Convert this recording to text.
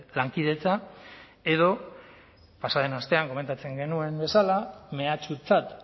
lankidetza edo pasa den astean komentatzen genuen bezala mehatxutzat